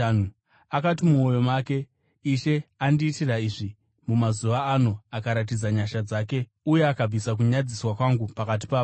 Akati mumwoyo make, “Ishe andiitira izvi. Mumazuva ano akaratidza nyasha dzake uye akabvisa kunyadziswa kwangu pakati pavanhu.”